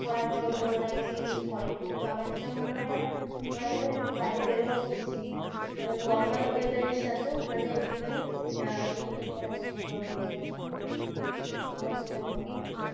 করার জন্য ওনারা ac use করেন। কিন্তু আমার যেটা মনে হয়না। ওনাদের ও একটু বাইরে বেরোনো উচিত। normal weather এর সাথে ওনাদের একটুখানি maintain করা উচিত। normal weather এ থাকা উচিত, আমার যেটা মনে হয়।